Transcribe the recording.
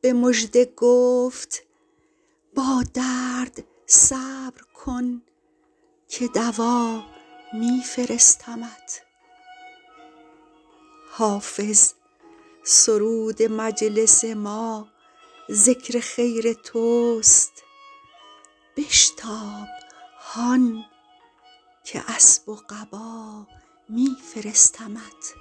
به مژده گفت با درد صبر کن که دوا می فرستمت حافظ سرود مجلس ما ذکر خیر توست بشتاب هان که اسب و قبا می فرستمت